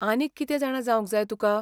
आनीक कितें जाणा जावंक जाय तुका?